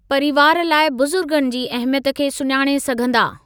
परीवार लाइ बुज़ुर्गनि जी अहमियत खे सुञाणे सघंदा।